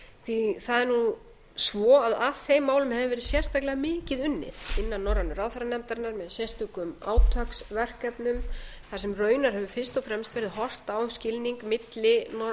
því það er nú svo að að þeim málum hefur verið sérstaklega mikið unnið innan norrænu ráðherranefndarinnar með sérstökum átaksverkefnum þar sem raunar hefur fyrst og fremst verið horft á skilning milli